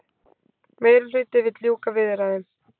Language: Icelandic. Meirihluti vill ljúka viðræðum